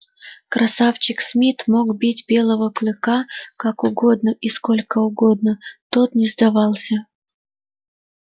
красавчик смит мог бить белого клыка как угодно и сколько угодно тот не сдавался